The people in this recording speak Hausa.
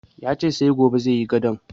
Ya ce sai gobe zai sayi gadon